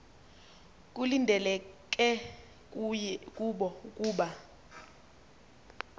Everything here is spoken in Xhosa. kulindeleke kubo ukuba